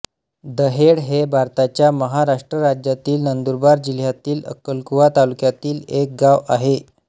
दहेळ हे भारताच्या महाराष्ट्र राज्यातील नंदुरबार जिल्ह्यातील अक्कलकुवा तालुक्यातील एक गाव आहे